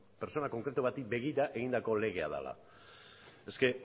pertsona konkretu bati begira egindako lege bat dela eske